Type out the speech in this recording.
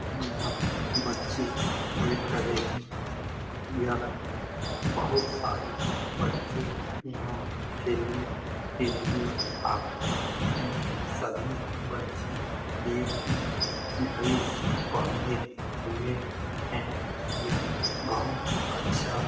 यहाँ बच्चे खेल रहे हैं यह बहुत सारे बच्चे यहाँ खेलने के लिए आते हैं । सभी बच्चे एक ही ड्रेस पहने हुए हैं । यह बहुत अच्छा --